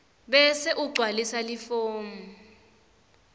bese ugcwalisa lifomu